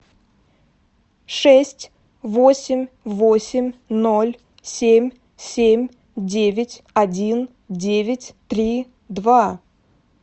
шесть восемь восемь ноль семь семь девять один девять три два